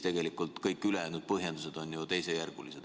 Tegelikult on kõik ülejäänud põhjendused ju teisejärgulised.